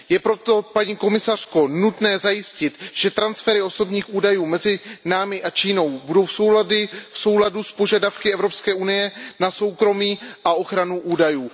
Je proto, paní komisařko, nutné zajistit, že transfery osobních údajů mezi námi a Čínou budou v souladu s požadavky Evropské unie na soukromí a ochranu údajů.